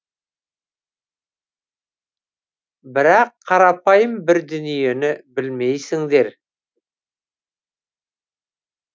бірақ қарапайым бір дүниені білмейсіңдер